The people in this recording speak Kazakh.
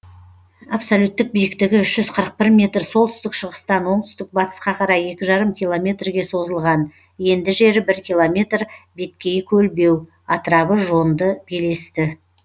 абсолюттік биіктігі үш жүз қырық бір метр солтүстік шығыстан оңтүстік батысқа қарай екі жарым километрге созылған енді жері бір километр беткейі көлбеу атырабы жонды белесті